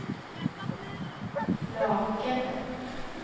Lakene